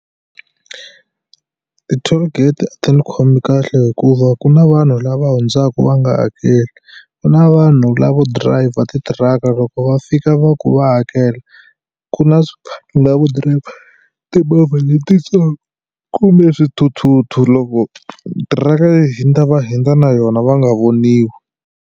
Ti-tollgate a ti ni khomi kahle hikuva ku na vanhu lava hundzaka va nga hakeli. Ku na vanhu lavo driver titiraka loko va fika va ku va hakela ku na na lavo drive timovha letitsongo kumbe swithuthuthu loko tiraka yi hundza va hundza na yona va nga voniwi.